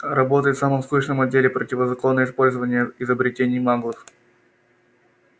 работает в самом скучном отделе противозаконное использование изобретений маглов